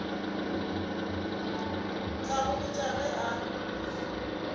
tla go botša ge a